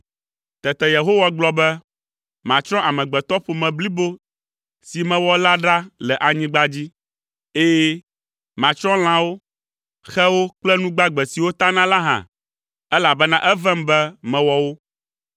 Tete Yehowa gblɔ be, “Matsrɔ̃ amegbetɔƒome blibo si mewɔ la ɖa le anyigba dzi. Ɛ̃, matsrɔ̃ lãwo, xewo kple nu gbagbe siwo tana la hã, elabena evem be mewɔ wo.”